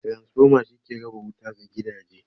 Transformer shi ke raba wuta ga gidaje.